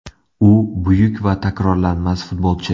U – buyuk va takrorlanmas futbolchi”.